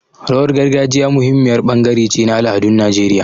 Rawar gargajiya muhimmiyar bangare ce na al'adun Najeriya.